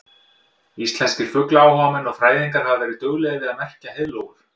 Íslenskir fuglaáhugamenn og fræðingar hafa verið duglegir við að merkja heiðlóur.